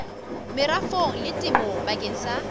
merafong le temong bakeng sa